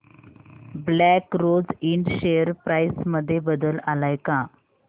black rose इंड share price मध्ये बदल आलाय का